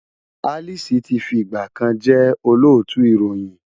Alice ti fi ìgbà kan jẹ́ Olóòtú ìròyìn.